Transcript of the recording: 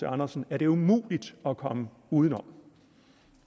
andersen er det umuligt at komme uden om